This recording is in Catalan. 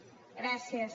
gràcies